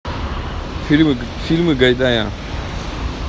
фильмы гайдая